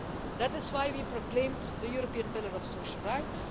That is why we proclaimed the European Pillar of Social Rights.